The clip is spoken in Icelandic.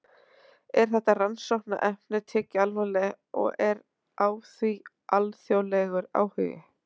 Er þetta rannsóknarefni tekið alvarlega og er á því alþjóðlegur áhugi?